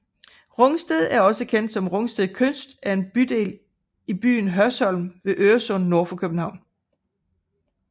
Rungsted også kendt som Rungsted Kyst er en bydel i byen Hørsholm ved Øresund nord for København